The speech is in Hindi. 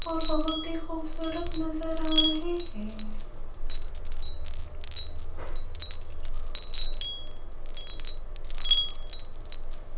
और बहोत ही खूबसूरत नजर आ रहे हैं।